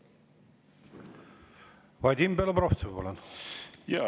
Vadim Belobrovtsev, palun!